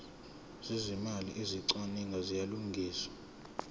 zezimali ezicwaningiwe ziyalungiswa